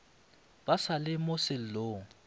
ba sa le mo sellong